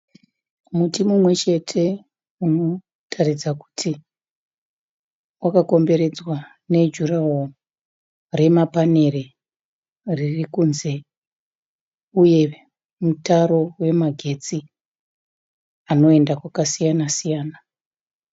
Muti mumwechete unotaridza kuti wakakomberedzwa nejuraworo remapanere ririkunze uye mutaro wemagetsi anoenda kwakasiyana siyana.